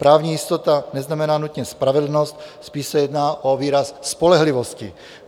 Právní jistota neznamená nutně spravedlnost, spíš se jedná o výraz spolehlivosti.